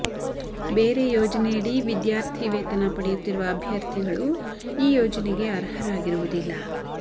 ಬೇರೆ ಯೋಜನೆಯಡಿ ವಿದ್ಯಾರ್ಥಿ ವೇತನ ಪಡೆಯುತ್ತಿರುವ ಅಭ್ಯರ್ಥಿಗಳು ಈ ಯೋಜನೆಗೆ ಅರ್ಹರಾಗಿರುವುದಿಲ್ಲ